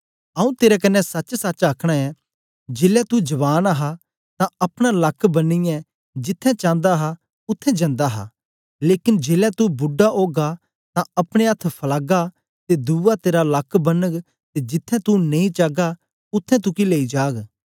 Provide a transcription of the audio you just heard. आऊँ तेरे कन्ने सचसच आखना ऐं जेलै तू जवान हा तां अपना लक्क बनियै जिथें चांदा हा उत्थें जंदा हा लेकन जेलै तू बुड्डा ओगा तां अपने अथ्थ फलागा ते दुवा तेरा लक्क बनग ते जिथें तू नेई चागा उत्थें तुगी लेई जाग